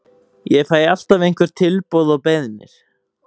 Ég fæ alltaf einhver tilboð og beiðnir.